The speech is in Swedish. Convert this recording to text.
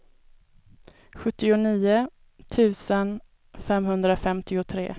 sjuttionio tusen femhundrafemtiotre